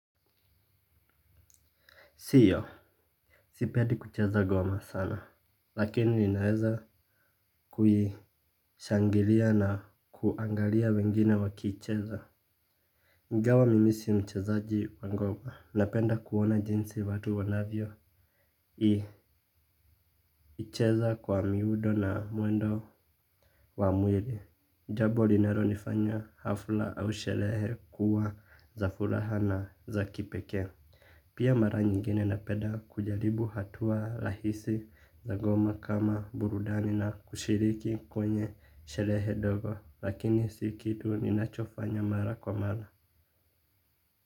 Siyo, sipendi kucheza ngoma sana, lakini ninaeza kuishangilia na kuangalia wengine wakiicheza. Ingawa mimi si mchezaji wa ngoma, napenda kuona jinsi watu wanavyoicheza kwa miundo na mwendo wa mwili. Jambo linalolifanya hafla au sherehe kuwa za furaha na za kipekee. Pia mara nyingine napenda kujaribu hatua rahisi za ngoma kama burudani na kushiriki kwenye sherehe ndogo, lakini si kitu ninachofanya mara kwa mara.